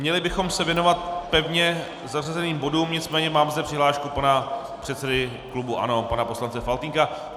Měli bychom se věnovat pevně zařazeným bodům, nicméně mám zde přihlášku pana předsedy klubu ANO, pana poslance Faltýnka.